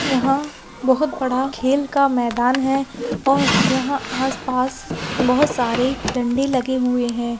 यहाँ बहुत बड़ा खेल का मैदान है और यहाँ आस-पास बहुत सारे डंडे लगे हुए है।